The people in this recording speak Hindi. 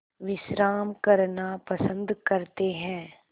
विश्राम करना पसंद करते हैं